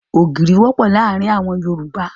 Ògìrì wọ́pọ̀ ní àárín àwọn Yorùbá.